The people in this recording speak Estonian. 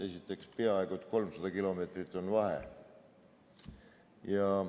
Esiteks, peaaegu 300 kilomeetrit on vahe.